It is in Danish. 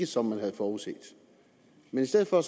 som man havde forudset men i stedet for